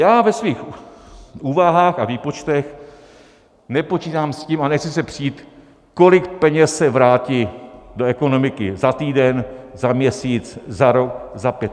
Já ve svých úvahách a výpočtech nepočítám s tím a nechci se přít, kolik peněz se vrátí do ekonomiky za týden, za měsíc, za rok, za pět.